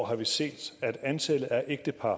har vi set at antallet af ægtepar